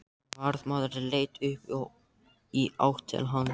Varðmaður leit upp og í átt til hans.